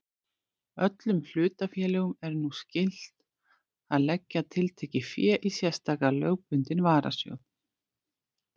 Öllum hlutafélögum er nú skylt að leggja tiltekið fé í sérstakan lögbundinn varasjóð.